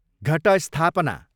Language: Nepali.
घटस्थापना